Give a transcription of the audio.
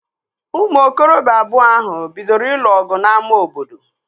Ụmụ okorobịa abụọ ahụ bidoro ịlụ ọgụ n'ámá obodo